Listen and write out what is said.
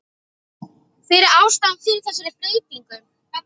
Hver er ástæðan fyrir þessari breytingu?